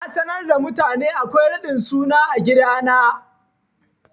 Na sanar da mutane akwai raɗin suna a gidana.